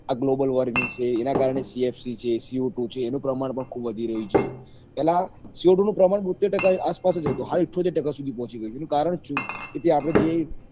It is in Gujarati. આ globe warming છે એના કારણે csc છે c o two છે એનું પ્રમાણ પણ ખુબ વધી રહ્યું છે પેલા c o two પ્રમાણ બોત્ઇતેર ટકા આસપાસ હતું હા થોત્તેર ટકા સુધી પોકી ગયું છે એનું કારણ શું કે જે આપડે જે